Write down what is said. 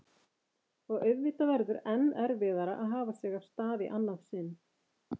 Og auðvitað verður enn erfiðara að hafa sig af stað í annað sinn.